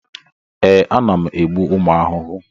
Ee, ana m egbu ụmụ ahụhụ.